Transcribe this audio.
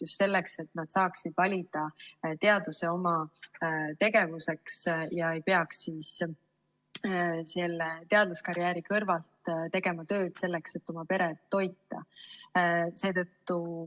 Just selleks, et nad saaksid valida oma tegevuseks teaduse ega peaks teadlaskarjääri kõrvalt tegema muud tööd, selleks et oma peret toita.